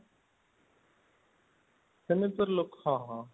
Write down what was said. ସେମିତି ତ ଲୋକ ହଁ ହଁ